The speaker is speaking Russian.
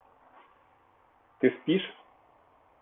ты спишь